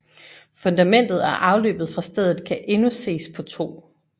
Fundamentet og afløbet fra stedet kan endnu ses på 2